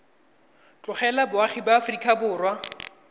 tlogela boagi ba aforika borwa